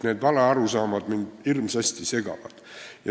Need valearusaamad mind hirmsasti segavad.